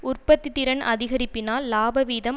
உற்பத்தி திறன் அதிகரிப்பினால் இலாபவீதம்